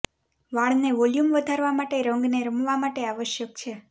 વાળને વોલ્યુમ વધારવા માટે રંગને રમવા માટે આવશ્યક છે